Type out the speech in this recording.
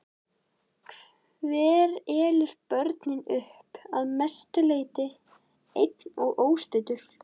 Hver elur börnin upp, að mestu leyti einn og óstuddur?